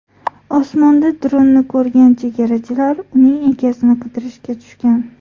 Osmonda dronni ko‘rgan chegarachilar uning egasini qidirishga tushgan.